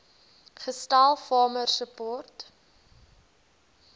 gestel farmer support